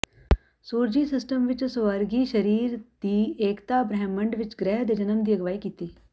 ਸੂਰਜੀ ਸਿਸਟਮ ਵਿੱਚ ਸਵਰਗੀ ਸਰੀਰ ਦੀ ਏਕਤਾ ਬ੍ਰਹਿਮੰਡ ਵਿਚ ਗ੍ਰਹਿ ਦੇ ਜਨਮ ਦੀ ਅਗਵਾਈ ਕੀਤੀ